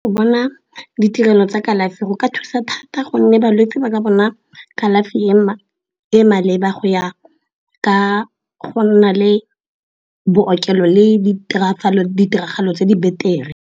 Go bona ditirelo tsa kalafi go ka thusa thata gonne balwetse ba ka bona kalafi e e maleba go ya ka go nna le bookelo le ditiragalo tse di beter-e.